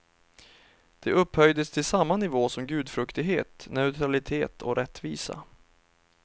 Det upphöjdes till samma nivå som gudfruktighet, neutralitet och rättvisa.